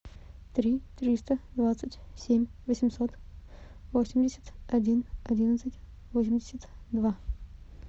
три триста двадцать семь восемьсот восемьдесят один одиннадцать восемьдесят два